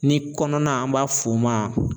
Ni kɔnɔna an b'a f'o ma